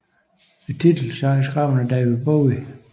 Titelsangen er skrevet af David Bowie